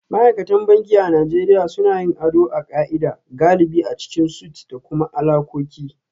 Ma'aikatan banki a Najeriya suna yin ado a ka'ida, galibi a cikin suites da kuma alakoki